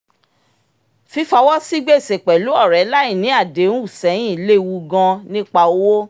fífọwọ́ sí gbèsè pẹ̀lú ọ̀rẹ́ láì ní àdéhùn sẹ́yìn lewu gan nípa owó